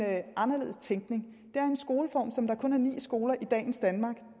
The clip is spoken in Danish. anderledes tænkning det er en skoleform som kun ni skoler i dagens danmark